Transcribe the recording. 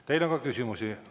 Teile on ka küsimusi.